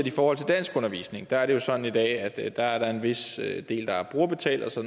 i forhold til danskundervisning og der er det jo sådan i dag at at der er en vis del der er brugerbetalt og så